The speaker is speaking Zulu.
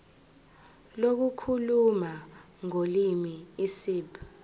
lokukhuluma ngolimi isib